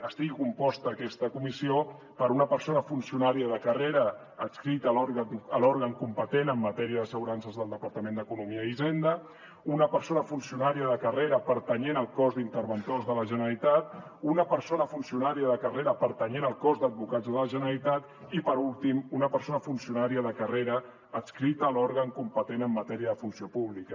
estigui composta aquesta comissió per una persona funcionària de carrera adscrita a l’òrgan competent en matèria d’assegurances del departament d’economia i hisenda una persona funcionària de carrera pertanyent al cos d’interventors de la generalitat una persona funcionària de carrera pertanyent al cos d’advocats de la generalitat i per últim una persona funcionària de carrera adscrita a l’òrgan competent en matèria de funció pública